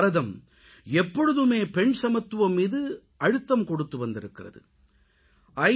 பாரதம் எப்பொழுதுமே பெண் சமத்துவம் மீது அழுத்தம் கொடுத்து வந்திருக்கிறது ஐ